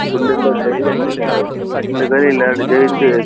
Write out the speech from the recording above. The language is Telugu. గుండెల్లో జల్లుమంటుంది. ఇందుకని ఇలాంటి ]